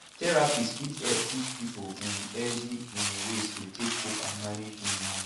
therapists fit help teach pipo um healthy um ways to take cope and manage um am